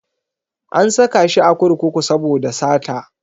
An saka shi a kurkuku saboda sata.